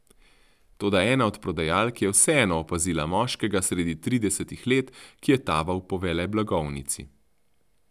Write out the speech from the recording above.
Toda ena od prodajalk je vseeno opazila moškega sredi tridesetih let, ki je taval po veleblagovnici.